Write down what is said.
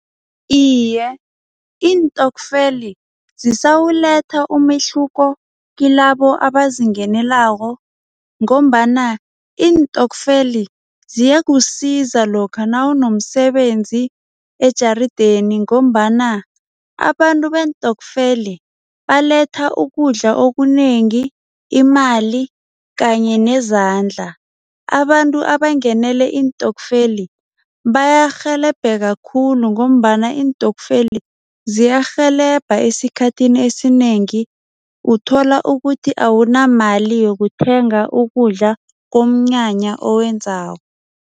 Iye, iintokfeli zisawuletha umehluko kilabo abazingenelako ngombana iintokfeli ziyakusiza lokha nawunomsebenzi ejarideni ngombana abantu beentokfeli baletha ukudla okunengi, imali kanye nezandla. Abantu abangenele iintokfeli bayarhelebheka kakhulu ngombana iintokfeli ziyarhelebha esikhathini esinengi, uthola ukuthi awunamali yokuthenga ukudla kunomnyanya owenzako.